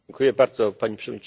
Pani Przewodnicząca!